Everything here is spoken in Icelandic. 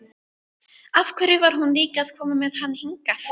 Af hverju var hún líka að koma með hann hingað?